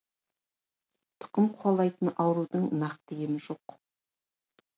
тұқым қуалайтын аурудың нақты емі жоқ